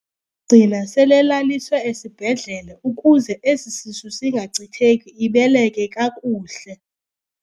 Gcina selelaliswe esibhedlele ukuze esi sisu singachitheki ibeleke kakuhle.